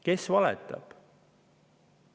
Kes valetab?